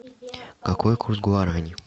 какой курс гуарани